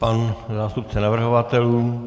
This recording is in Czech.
Pan zástupce navrhovatelů?